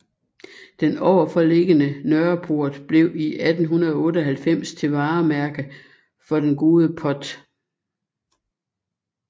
Den overforliggende Nørreport blev i 1898 til varemærke for den gode Pott